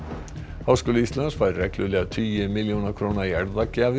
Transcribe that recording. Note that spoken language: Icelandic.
háskóli Íslands fær reglulega tugi milljóna króna í